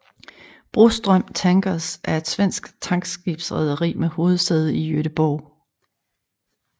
Broström Tankers er et svensk tankskibsrederi med hovedsæde i Göteborg